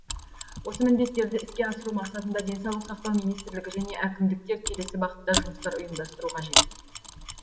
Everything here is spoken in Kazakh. осы міндеттерді іске асыру мақсатында денсаулық сақтау министрлігі және әкімдіктер келесі бағытта жұмыстар ұйымдастыру қажет